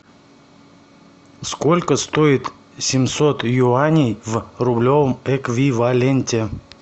сколько стоит семьсот юаней в рублевом эквиваленте